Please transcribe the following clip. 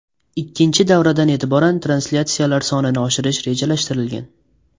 Ikkinchi davradan e’tiboran translyatsiyalar sonini oshirish rejalashtirilgan.